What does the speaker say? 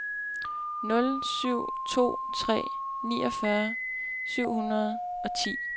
nul syv to tre niogfyrre syv hundrede og ti